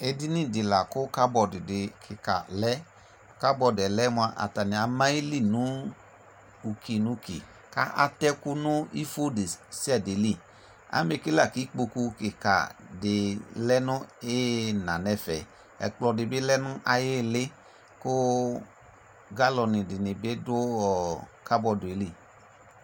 Edinidɩ la kʋ kabɔdɩ kɩka lɛ : kabɔdɩɛ lɛ mʋa, attanɩ ama ayili nʋ uki n'uki k'a atɛkʋ nʋ ifo desiade li Amɛ ke la k'ikpoku kɩkadɩ lɛ nʋ ɩyɩna n'ɛfɛ ; ɛkplɔdɩ bɩ lɛ nʋ ay'ɩɩlɩ , kʋ galɔnɩdɩnɩ bɩ dʋ ɔ kabɔdɩɛ li